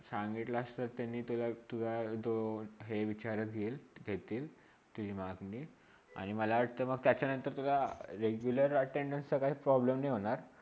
सांगितलास असता त्यांनी तुला तुला तो हे विचारत येल येतील त्या मानघणी आणि मला वाटता मग त्याच्यानंतर तुला regular ATTENDANCE चा काही problem नाही होणार.